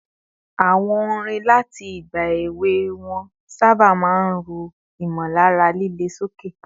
Àwọn orin láti ìgbà èwe wọn sábà máa ń ru ìmọ̀lára líle sókè